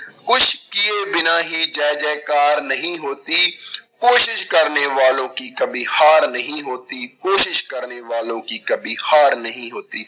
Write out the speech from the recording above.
ਕੁਛ ਕੀਏ ਬਿਨਾਂ ਹੀ ਜੈ ਜੈ ਕਾਰ ਨਹੀਂ ਹੋਤੀ ਕੋਸ਼ਿਸ਼ ਕਰਨੇ ਵਾਲੋਂ ਕੀ ਕਬੀ ਹਾਰ ਨਹੀਂ ਹੋਤੀ, ਕੋਸ਼ਿਸ਼ ਕਰਨੇ ਵਾਲੋਂ ਕੀ ਕਬੀ ਹਾਰ ਨਹੀਂ ਹੋਤੀ।